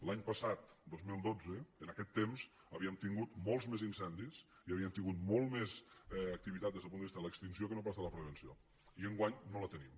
l’any pas·sat dos mil dotze en aquest temps havíem tingut molts més incendis i havíem tingut molta més activitat des del punt de vista de l’extinció que no pas de la prevenció i enguany no la tenim